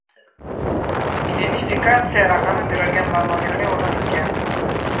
Identifikatsiya raqami berilgan va nominali o‘rnatilgan.